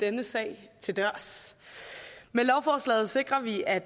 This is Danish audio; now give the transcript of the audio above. denne sag til dørs med lovforslaget sikrer vi at